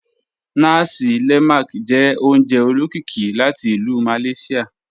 Nàsí lé̩màk jẹ́ ò̩ùnjẹ̀ ò̩ló̩kíkí láti Ilú Malaysia.